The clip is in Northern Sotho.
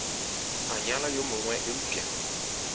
a nyala yo mongwe eupša